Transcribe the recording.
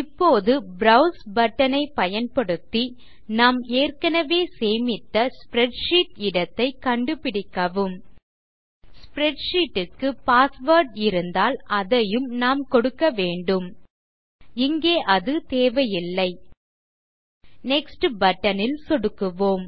இப்போது browse button ஐ பயன்படுத்தி நாம் ஏற்கனவே சேமித்த ஸ்ப்ரெட்ஷீட் இடத்தை கண்டுபிடிக்கவும் ஸ்ப்ரெட்ஷீட் க்கு பாஸ்வேர்ட் இருந்தால் அதையும் நாம் கொடுக்கவேண்டும் இங்கே அது தேவையில்லை நெக்ஸ்ட் பட்டன் ல் சொடுக்குவோம்